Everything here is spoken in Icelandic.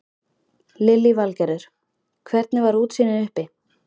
Lillý Valgerður: Hvernig var útsýnið uppi?